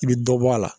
I bɛ dɔ bɔ a la